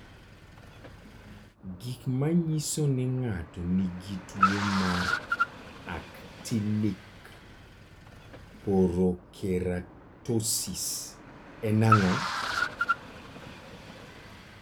Gik manyiso ni ng'ato nigi tuwo mar Actinic porokeratosis en ang'o?